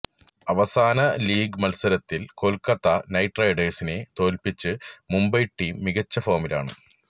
അവസാന ലീഗ് മത്സരത്തില് കൊല്ക്കത്ത നൈറ്റ് റൈഡേഴ്സിനെ തോല്പ്പിച്ച മുംബൈ ടീം മികച്ച ഫോമിലാണ്